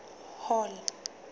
hall